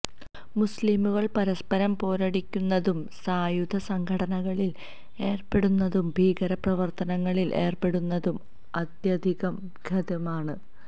മുസ്ലിംകള് പരസ്പരം പോരടിക്കുന്നതും സായുധ സംഘട്ടനത്തില് ഏര്പ്പെടുന്നതും ഭീകര പ്രവര്ത്തനങ്ങളില് ഏര്പ്പെടുന്നതും അത്യധികം ഖേദകരമാണ്